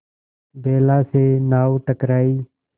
बेला से नाव टकराई